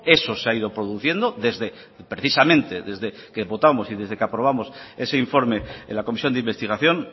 eso se ha ido produciendo desde precisamente desde que votamos y desde que aprobamos ese informe en la comisión de investigación